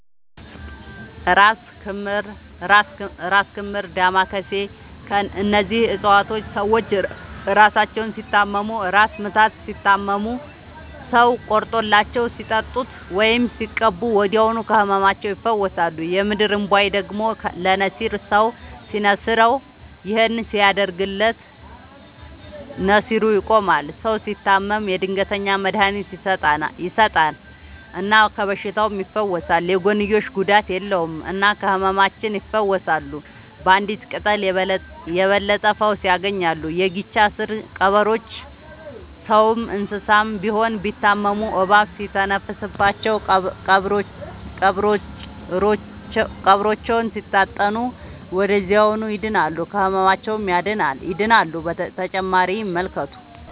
እራስ ክምር ዳማ ከሴ እነዚህ ፅፀዋቶች ሰዎች እራሳቸውን ሲታመሙ እራስ ምታት ሲታመሙ ሰው ቆርጦላቸው ሲጠጡት ወይም ሲቀቡ ወዲያውኑ ከህመማቸው ይፈወሳሉ። የምድር እንቧይ ደግሞ ለነሲር ሰው ሲንስረው ይህን ሲያደርግለት ነሲሩ ይቆማል። ሰው ሲታመም የድንገተኛ መድሀኒት ይሰጠል እና ከበሽታውም ይፈወሳል። የጎንዮሽ ጉዳት የለውም እና ከህመማቸው ይፈውሳሉ ባንዲት ቅጠል የበለጠ ፈውስ ያገኛሉ። የጊቻ ስር ቀበሮቾ ሰውም እንሰሳም ቢሆን ቢታመሙ እባብ ሲተነፍስባቸው ቀብሮቾውን ሲታጠኑ ወደዚያውኑ ይድናሉ። ከህመማቸው ይድናሉ…ተጨማሪ ይመልከቱ